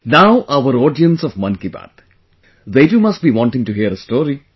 Now our audience of Mann Ki Baat... they too must be wanting to hear a story